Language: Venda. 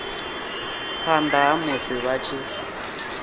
phanḓa ha musi vha tshi